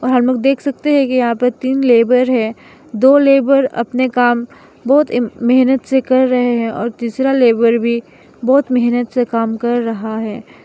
हम लोग देख सकते हैं कि यहां पर तीन लेबर है दो मजदूर अपने काम बहुत मेहनत से कर रहे हैं और तीसरा लेबर भी बहुत मेहनत से काम कर रहा है।